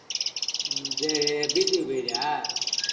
உம் சேரி beach க்கு போயிக்கியா